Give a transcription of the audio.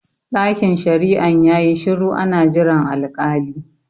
Ɗakin shari'an yayi shiru ana jiran al-kali